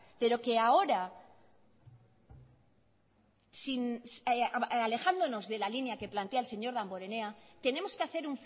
pero que ahora alejándonos de la línea que plantea el señor damborenea tenemos que hacer